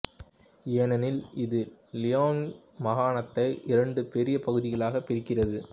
ஏனெனில் இது லியோனிங் மாகாணத்தை இரண்டு பெரிய பகுதிகளாக பிரிக்கிறது